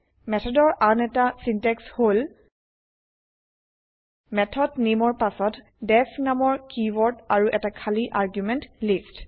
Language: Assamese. মেথডৰ আন এটা চিন্তেক্স হল160 মেথড নামে ৰ পাছত ডিইএফ নামৰ কিৱৰ্দ আৰু এটা খালি আৰ্গুমেন্ত লিস্ত